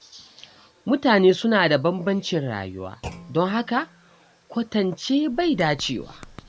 Mutane suna da bambancin rayuwa, don haka kwatance bai dace ba.